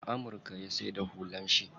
A amurka ya saida hular shi.